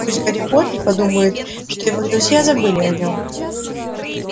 пусть гарри поттер подумает что его друзья забыли о нем